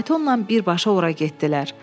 Faytonla birbaşa ora getdilər.